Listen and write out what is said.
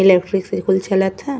Electric से कुल चलत ह।